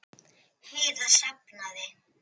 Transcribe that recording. Heiða safnaði